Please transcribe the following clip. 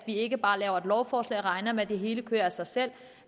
ikke bare laver et lovforslag regner med at det hele kører af sig selv